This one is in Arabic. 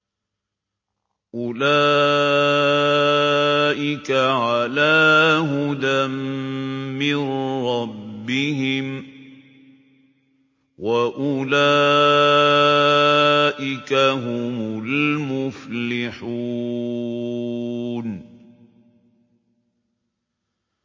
أُولَٰئِكَ عَلَىٰ هُدًى مِّن رَّبِّهِمْ ۖ وَأُولَٰئِكَ هُمُ الْمُفْلِحُونَ